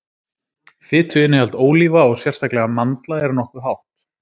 Fituinnihald ólíva og sérstaklega mandla er nokkuð hátt.